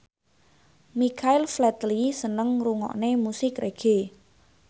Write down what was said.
Michael Flatley seneng ngrungokne musik reggae